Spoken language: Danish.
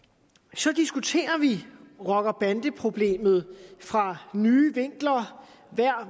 så diskuterer vi rocker bande problemet fra nye vinkler